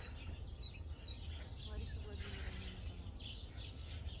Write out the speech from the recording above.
лариса владимировна никонорова